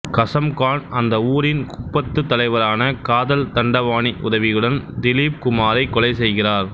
கசம்கான் அந்த ஊரின் குப்பத்து தலைவரான காதல் தண்டபாணி உதவியுடன் திலீப்குமாரைக் கொலை செய்கிறார்